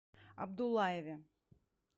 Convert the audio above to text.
абдуллаеве